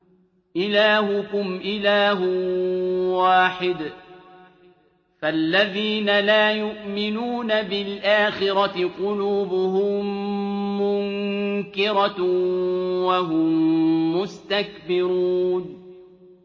إِلَٰهُكُمْ إِلَٰهٌ وَاحِدٌ ۚ فَالَّذِينَ لَا يُؤْمِنُونَ بِالْآخِرَةِ قُلُوبُهُم مُّنكِرَةٌ وَهُم مُّسْتَكْبِرُونَ